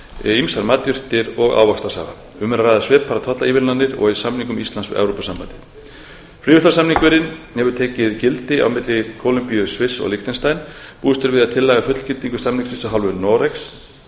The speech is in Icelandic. jólatré ýmsar matjurtir og ávaxtasafa um er að ræða svipaðar tollaívilnanir og í samningum íslands við evrópusambandið fríverslunarsamningurinn hefur tekið gildi á mikilli kólumbíu sviss og liechtenstein búist er við að tillaga um fullgildingu samningsins af hálfu noregs